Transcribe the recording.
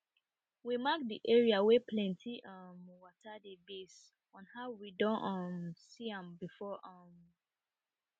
we mark de area wey plenty um water dey base on how we don um see am before um